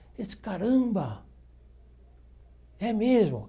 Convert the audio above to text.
Ele disse, caramba, é mesmo.